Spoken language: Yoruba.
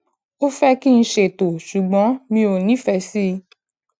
ó fẹ kí n ṣètò ṣùgbọn mi ò nífẹẹ sí